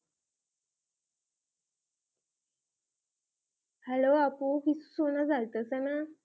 hello আপু কিছু সোনা যাইতেছেনা